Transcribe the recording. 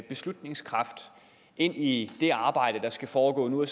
beslutningskraft ind i det arbejde der skal foregå nu og